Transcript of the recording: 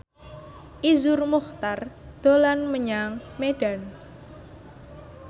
Iszur Muchtar dolan menyang Medan